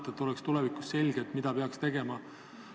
Küsin, et oleks tulevikus selge, mida peab tegema.